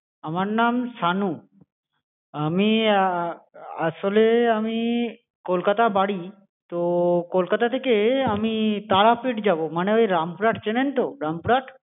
আমার নাম শানু, আমি আসলে আমি কলকাতা বাড়ি তো কলকাতা থেকে আমি তারাপীঠ যাবো মানে ওই রামপুরহাট চেনেন তো রামপুরহাট